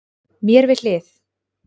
Mér við hlið